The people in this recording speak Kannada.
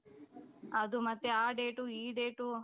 ಅದು ಮತ್ತೆ ಆ date ಈ date .